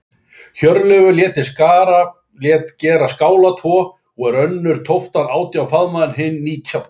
Hjörleifur lét þar gera skála tvo, og er önnur tóftin átján faðma, en önnur nítján.